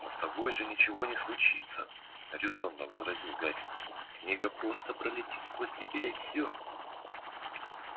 но с тобой же ничего не случится резонно возразил гарри книга просто пролетит сквозь тебя и всё